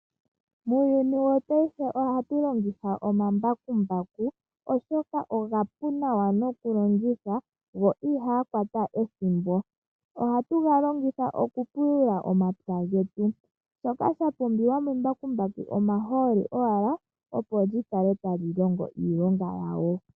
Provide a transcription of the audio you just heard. Muuyuni wopaife ohatu longitha omambakumbaku oshoka omapu nawa nokulongitha go ihaga kwata ethimbo. Ohatu ga longitha okupulula omapya getu, shoka sha pumbiwa membakumbaku omahooli owala opo lyi kale tali longo iilonga yalyo.